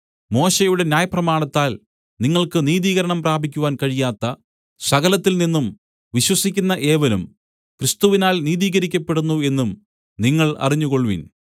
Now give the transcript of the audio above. മോശെയുടെ ന്യായപ്രമാണത്താൽ നിങ്ങൾക്ക് നീതീകരണം പ്രാപിക്കുവാൻ കഴിയാത്ത സകലത്തിൽ നിന്നും വിശ്വസിക്കുന്ന ഏവനും ക്രിസ്തുവിനാൽ നീതീകരിക്കപ്പെടുന്നു എന്നും നിങ്ങൾ അറിഞ്ഞുകൊൾവിൻ